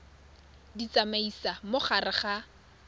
di tsamaisa mo gare ga